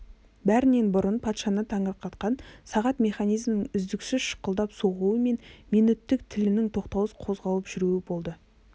бәрінен бұрын патшаны таңырқатқан сағат механизмінің үздіксіз шықылдап соғуы мен минөттік тілінің тоқтаусыз қозғалып жүруі болды